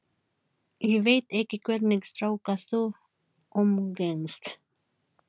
Svenni situr nokkra stund við símann, getur sig hvergi hrært.